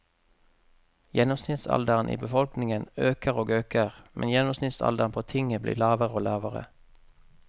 Gjennomsnittsalderen i befolkningen øker og øker, men gjennomsnittsalderen på tinget blir lavere og lavere.